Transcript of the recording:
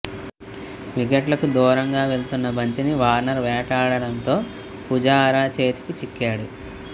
వికెట్లకు దూరంగా వెళ్తున్న బంతిని వార్నర్ వేటాడడంతో పుజారా చేతికి చిక్కాడు